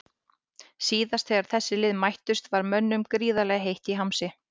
Síðast þegar þessi lið mættust var mönnum gríðarlega heitt í hamsi.